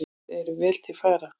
Þeir eru vel til fara.